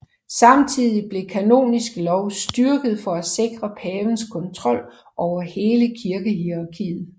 Samtidigt blev kanonisk lov styrket for at sikre pavens kontrol over hele kirkehierarkiet